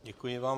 Děkuji vám.